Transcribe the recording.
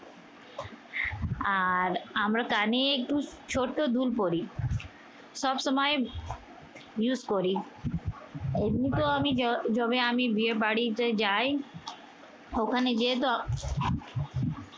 আর আমরা কানে একটু ছোট দুল পড়ি। সবসময় use করি। এমনিতেও আমি জ যবে আমি বিয়ে বাড়িতে যাই ওখানে গিয়েতো